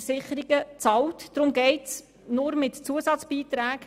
Deshalb geht es nur mit Zusatzbeiträgen.